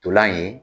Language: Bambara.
Ntolan in ye